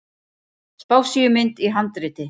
Spássíumynd í handriti.